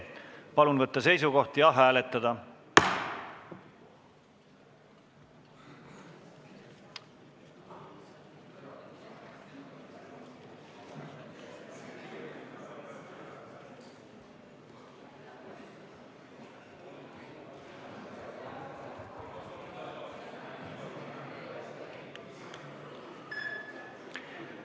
Palun võtta seisukoht ja hääletada!